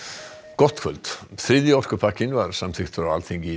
gott kvöld þriðji orkupakkinn var samþykktur á Alþingi